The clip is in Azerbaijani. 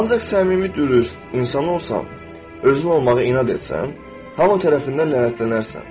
Ancaq səmimi, dürüst insan olsan, özün olmağa inad etsən, hamı tərəfindən lənətlənərsən.